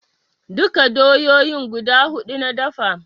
Duka doyoyin guda huɗu na dafe